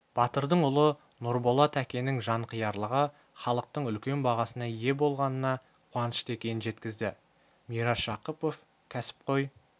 батырдың ұлы нұрболат әкенің жанқиярлығы іалықтың үлкен бағасына ие болғанына қуанышты екенін жеткізді мирас жақыпов кәсіпқой